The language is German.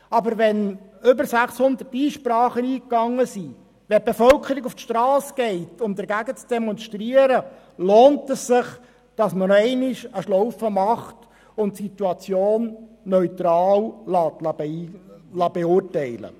Aber wenn mehr als 600 Einsprachen eingehen und die Bevölkerung auf die Strasse geht, um dagegen zu demonstrieren, lohnt es sich, nochmals eine Schlaufe zu machen und die Situation neutral beurteilen zu lassen.